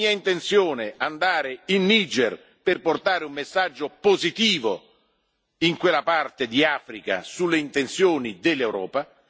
È mia intenzione andare in Niger per portare un messaggio positivo in quella parte di Africa sulle intenzioni dell'Europa.